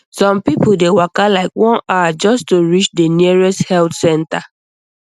some people dey waka like one hour just to reach the nearest health center